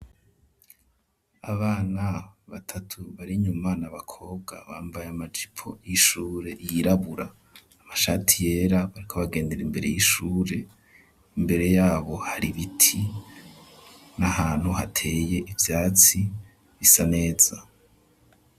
Abana batatu bari nyuma na bakobwa bambaye amajipo y'ishure yirabura, amashati yera, bariko bagendera imbere y'ishure ,imbere yabo hari ibiti, n'ahantu hateye ivyatsi bisa neza.